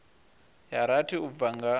ya rathi u bva nga